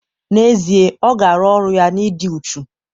N'ezie, ọ ga-arụ ọrụ ya na ịdị uchu